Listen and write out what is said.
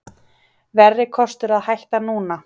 Verri kostur að hætta núna